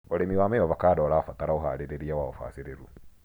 ũrĩmi wa mĩavovando ũrabatara ũharĩria wa ũbacĩrĩru.